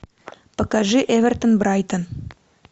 покажи эвертон брайтон